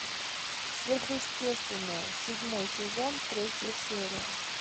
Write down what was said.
сверхъестественное седьмой сезон третья серия